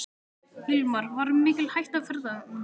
Hilmar: Var mikil hætta á ferðum?